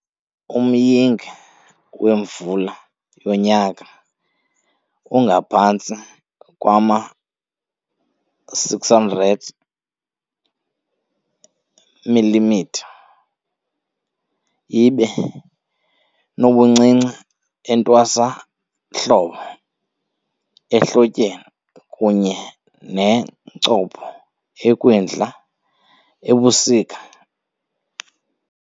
Umyinge wemvula ngonyaka ungaphantsi kwama-600 mm, ibe nobuncinci entwasahlobo - ehlotyeni kunye nencopho ekwindla-ebusika.